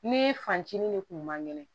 Ni fancini de kun man kɛnɛ